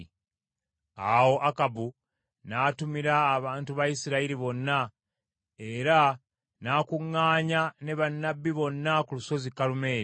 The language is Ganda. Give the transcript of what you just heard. Awo Akabu n’atumira abantu ba Isirayiri bonna, era n’akuŋŋaanya ne bannabbi bonna ku lusozi Kalumeeri.